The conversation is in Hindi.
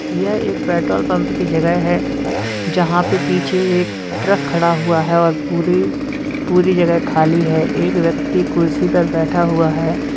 यह एक पेट्रोल पंप की जगह है जहां पे पीछे एक ट्रक खड़ा हुआ है और पूरे पूरी जगह खाली है एक व्यक्ति कुर्सी पे बैठा हुआ है।